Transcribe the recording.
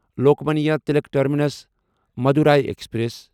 Lokmanya Tilak terminus Madurai express